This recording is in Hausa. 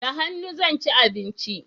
Da hannu zan ci abinci